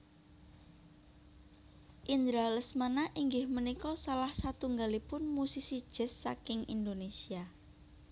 Indra Lesmana inggih punika salah satunggalipun musisi jazz saking Indonésia